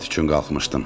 Tualet üçün qalxmışdım.